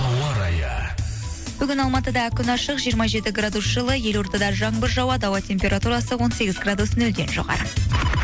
ауа райы бүгін алматыда күн ашық жиырма жеті градус жылы елордада жаңбыр жауады ауа температурасы он сегіз градус нөлден жоғары